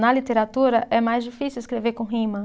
Na literatura, é mais difícil escrever com rima.